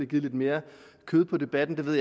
givet lidt mere kød på debatten jeg ved